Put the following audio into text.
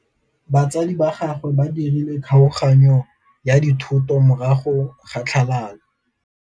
Batsadi ba gagwe ba dirile kgaoganyô ya dithoto morago ga tlhalanô.